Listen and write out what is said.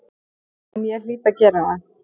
En ég hlýt að gera það.